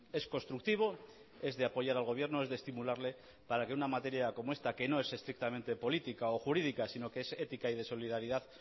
es constructivo es de apoyar al gobierno es de estimularle para que una materia como esta que no es estrictamente política o jurídica sino que es ética y de solidaridad